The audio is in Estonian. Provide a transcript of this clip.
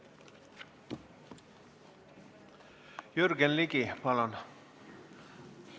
Jürgen Ligi, palun!